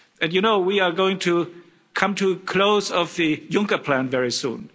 And you know we are going to come to the close of the Juncker Plan very soon.